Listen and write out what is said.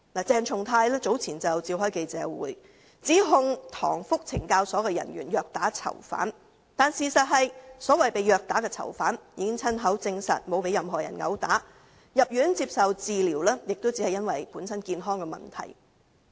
鄭松泰議員早前召開記者會，指控塘福懲教所的人員虐打囚犯，但事實是，所謂被虐打的囚犯已親口證實並無被任何人毆打，入院接受治療亦只因本身的健康問題。